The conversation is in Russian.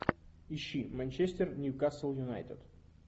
ищи манчестер ньюкасл юнайтед